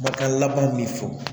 Makan laban min fɔ